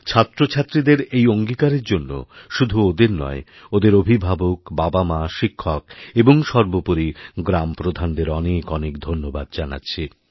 ছাত্রছাত্রীদের এই অঙ্গীকারের জন্য শুধু ওদের নয় ওদের অভিভাবকবাবামা শিক্ষক এবং সর্বোপরি গ্রামপ্রধানদের অনেক অনেক ধন্যবাদ জানাচ্ছি